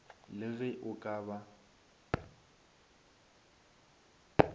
le ge o ka ba